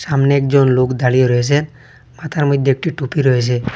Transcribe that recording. সামনে একজন লোক দাঁড়িয়ে রয়েসে মাথার মইধ্যে একটি টুপি রয়েছে।